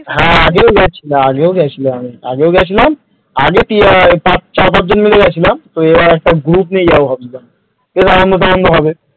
হাঁ আগেও গিয়েছিলাম আগেও গিয়েছিলাম আগেও গিয়েছিলাম আগে চার-পাঁচ জন মিলে গিয়েছিলাম তো এবার একটা group নিয়ে যাব ভাবছিলাম সেই আনন্দটা অন্য হবে।